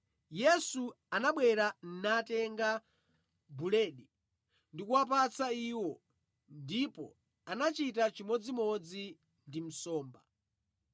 Yesu anabwera, natenga buledi ndikuwapatsa iwo, ndipo anachita chimodzimodzi ndi nsomba.